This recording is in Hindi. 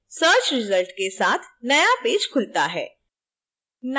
search रिजल्ट के साथ नया पेज खुलता है